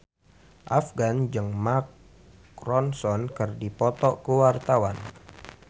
Afgan jeung Mark Ronson keur dipoto ku wartawan